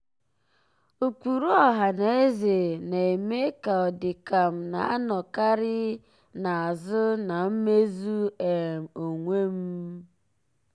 ụkpụrụ ọhanaeze na-eme ka ọ dị ka m na-anọkarị ka m na-anọkarị n'azụ na mmezu um onwe m.